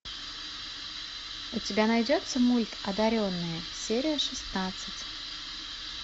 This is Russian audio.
у тебя найдется мульт одаренные серия шестнадцать